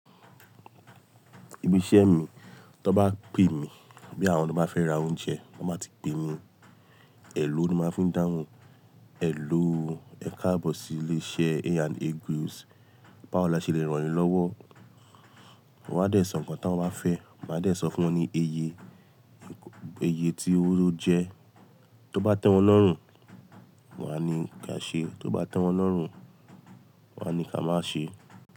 Ibi iṣẹ́ mi, tó bá pè mí, bí àwọn tó bá fẹ́ ra oúnjẹ, wọ́n má ti pe mí, "Ẹ̀lọ́" ni máa ń fi ń dáhùn, "Ẹ̀lọ́ ó ẹ̀kabọ̀sí ilé iṣẹ́ A&A Groceries, Báwó lase lè ràn yín lọ́wọ́", wọ́n á dẹ̀ sọ nǹkan táwọn wá fẹ́, màá dẹ̀ sọ fún wọn ní iye, iye tí o jẹ, tó bá tẹ́wọn lọ́rùn, wọ́n á ní ká ṣe, tóó bá tẹ́wọn lọ́rùn, wọ́n á ní ká máá ṣe.